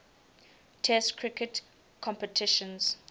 test cricket competitions